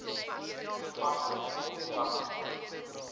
toepassing op alle